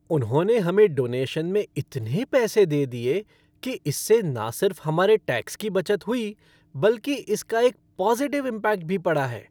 उन्होंने हमें डोनेशन में इतने पैसे दे दिए कि इससे ना सिर्फ हमारे टैक्स की बचत हुई, बल्कि इसका एक पॉजिटिव इम्पैक्ट भी पड़ा है।